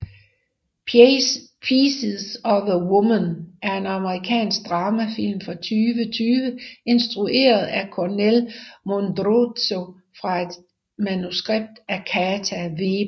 Pieces of a Woman er en amerikansk dramafilm fra 2020 instrueret af Kornél Mundruczó fra et manuskript af Kata Wéber